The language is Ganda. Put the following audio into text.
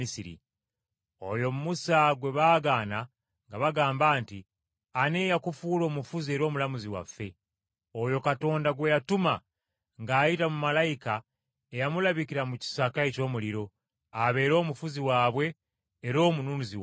“Oyo Musa gwe baagaana nga bagamba nti, ‘Ani eyakufuula omufuzi era omulamuzi waffe?’ Oyo Katonda gwe yatuma ng’ayita mu malayika eyamulabikira mu kisaka eky’omuliro, abeere omufuzi waabwe era omununuzi waabwe.